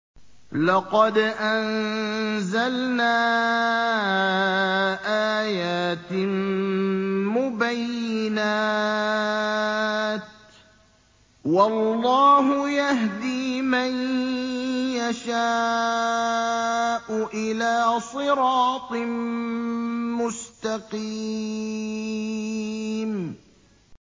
لَّقَدْ أَنزَلْنَا آيَاتٍ مُّبَيِّنَاتٍ ۚ وَاللَّهُ يَهْدِي مَن يَشَاءُ إِلَىٰ صِرَاطٍ مُّسْتَقِيمٍ